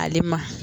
Ale ma